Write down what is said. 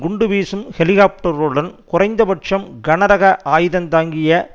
குண்டு வீசும் ஹெலிகாப்டர்களுடன் குறைந்தபட்சம் கனரக ஆயுதந்தாங்கிய